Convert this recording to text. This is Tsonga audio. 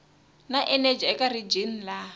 na eneji eka rijini laha